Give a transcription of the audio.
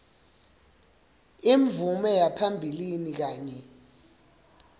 imvume yaphambilini kanye